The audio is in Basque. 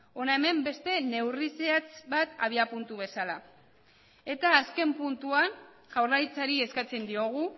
hona hemen beste neurri zehatz bat abiapuntu bezala eta azken puntuan jaurlaritzari eskatzen diogu